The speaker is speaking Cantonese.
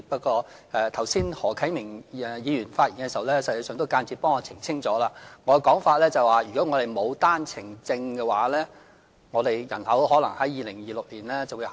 剛才何啟明議員發言時，實際上也間接代我澄清了，我所說的是如果我們沒有單程證的話，我們的人口可能在2026年下跌。